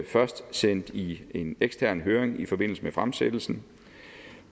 først sendt i en ekstern høring i forbindelse med fremsættelsen